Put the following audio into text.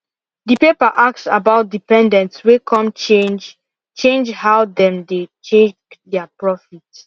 the paper ask about dependents way come change change how them dey check their profit